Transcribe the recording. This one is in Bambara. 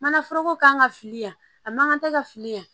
Manaforoko kan ka fili yan a man kan tɛ ka fili yan